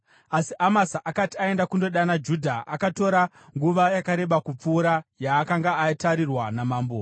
Asi Amasa akati aenda kundodana Judha, akatora nguva yakareba kupfuura yaakanga atarirwa namambo.